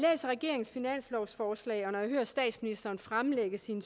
regeringens finanslovsforslag og når jeg hører statsministeren fremlægge sin